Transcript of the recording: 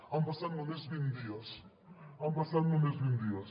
han passat només vint dies han passat només vint dies